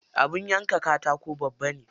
Abin yanka katakon babba ne.